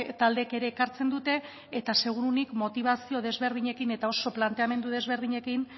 taldeek ere ekartzen dute eta seguruenik motibazio desberdinekin eta oso planteamendu desberdinekin